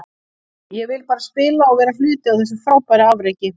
Ég vildi bara spila og vera hluti af þessu frábæra afreki.